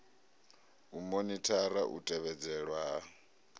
u monithara u tevhedzelwa ha